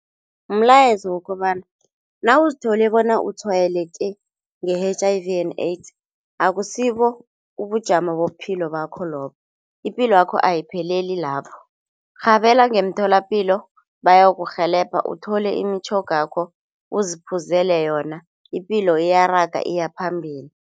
Mlayezo wokobana nawuzithole bona utshwayeleke nge-H_I_V and AIDS akusibo ubujamo bobuphilo bakho lobo, ipilo ayipheleli lapho, rhabela ngemtholapilo bayokurhelebha uthole imitjhogakho uziphuzele yona, ipilo ziyaraga iyaphambili.